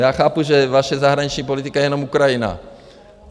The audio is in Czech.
Já chápu, že vaše zahraniční politika je jenom Ukrajina.